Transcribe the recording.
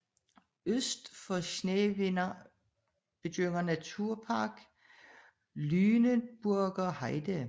Øst for Schneverdingen begynder Naturpark Lüneburger Heide